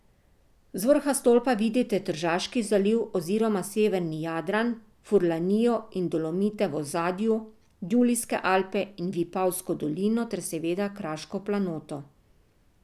Z vrha stolpa vidite Tržaški zaliv oziroma severni Jadran, Furlanijo in Dolomite v ozadju, Julijske Alpe in Vipavsko dolino ter seveda kraško planoto.